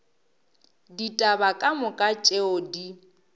ditaba ka moka tšeo di